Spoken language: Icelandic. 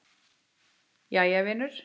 Jæja vinur.